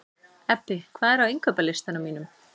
Ebbi, hvað er á innkaupalistanum mínum?